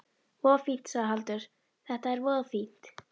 Voða fínt, sagði Haraldur, þetta er voða fínt.